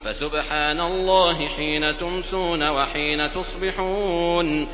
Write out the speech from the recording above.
فَسُبْحَانَ اللَّهِ حِينَ تُمْسُونَ وَحِينَ تُصْبِحُونَ